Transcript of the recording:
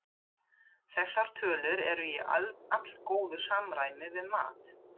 Þessar tölur eru í allgóðu samræmi við mat